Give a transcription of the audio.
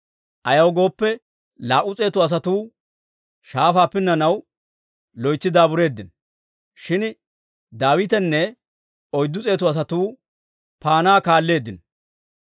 Ayaw gooppe, laa"u s'eetu asatuu shaafaa pinnanaw loytsi daabureeddino. Shin Daawitenne oyddu s'eetu asatuu paanaa kaalleeddino.